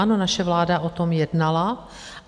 Ano, naše vláda o tom jednala.